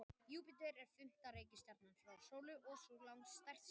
Júpíter er fimmta reikistjarnan frá sólu og sú langstærsta.